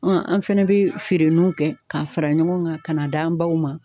an fɛnɛ bɛ feere n'u kɛ, k'a fara ɲɔgɔn kan, ka na d'an baw ma.